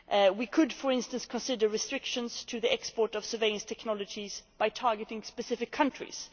We could, for instance, consider restrictions on the export of surveillance technologies by targeting specific countries.